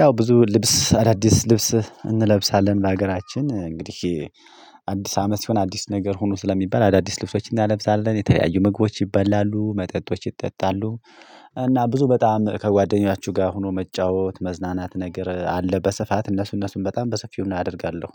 ያው ብዙ ልብስ አዳዲስ ልብስ እንለብሳለን በሀገራችን እንግዲህ አዲስ አመት ሲሆን አዲስ ነገር ሁኑ ስለሚባል አዳዲስ ልብሶችን እንለብሳለን የተለያዩ ምግቦች ይበላሉ መጠጦች ይጠጣሉ። እና ብዙ በጣም ከጓደኞቻችሁ ጋር ሆኖ መጫወት መዝናናት ነገር አለ በስፋት እነሱ እነሱን በጣም በሰፊው እናደርጋለሁ።